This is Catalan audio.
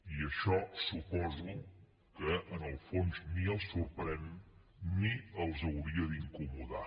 i això ho suposo en el fons ni els sorprèn ni els hauria d’incomodar